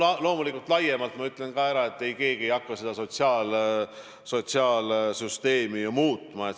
Ja loomulikult ma kinnitan ka, et keegi ei hakka meie sotsiaalsüsteemi muutma.